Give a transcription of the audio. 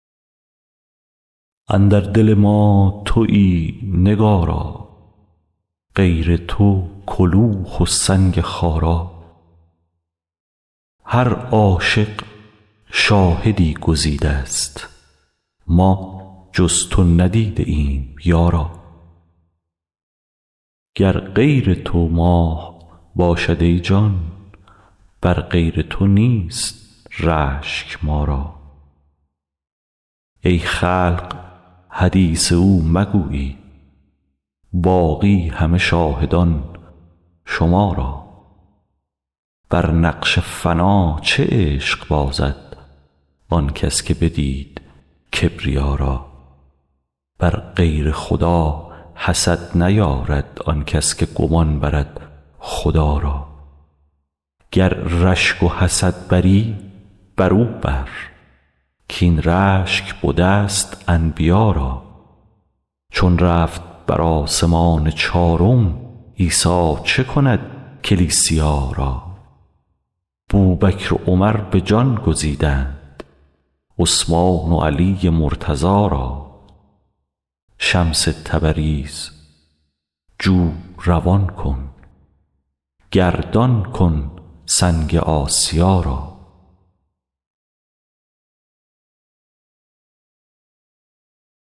اندر دل ما توی نگارا غیر تو کلوخ و سنگ خارا هر عاشق شاهدی گزیدست ما جز تو ندیده ایم یارا گر غیر تو ماه باشد ای جان بر غیر تو نیست رشک ما را ای خلق حدیث او مگویید باقی همه شاهدان شما را بر نقش فنا چه عشق بازد آن کس که بدید کبریا را بر غیر خدا حسد نیارد آن کس که گمان برد خدا را گر رشک و حسد بری برو بر کاین رشک بدست انبیا را چون رفت بر آسمان چارم عیسی چه کند کلیسیا را بوبکر و عمر به جان گزیدند عثمان و علی مرتضا را شمس تبریز جو روان کن گردان کن سنگ آسیا را